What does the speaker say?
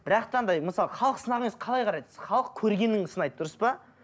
бірақта да мысалы халық қалай қарайды халық көргенін сынайды дұрыс па